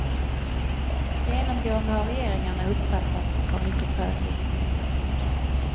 Genomgående har regeringarna uppfattats ha mycket hög legitimitet.